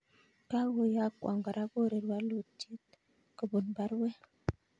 Kagoyokwan kora Korir w?luuty?t kobun baruet